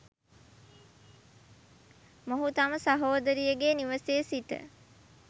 මොහු තම සහෝදරියගේ නිවසේ සිට